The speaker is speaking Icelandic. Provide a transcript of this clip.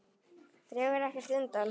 Dregur ekkert undan.